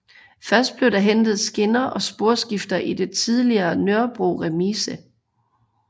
Først blev der hentet skinner og sporskifter i den tidligere Nørrebro Remise